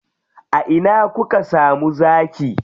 A ina kuka samu zaki?